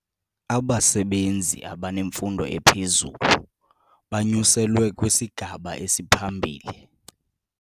Abasebenzi abanemfundo ephezulu banyuselwe kwisigaba esiphambili.